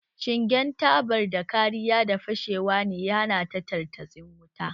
Shingen tabatar da kariya daga fashewa ne ya hana tartatsin wutan